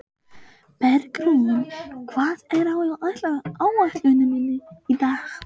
Bergrún, hvað er á áætluninni minni í dag?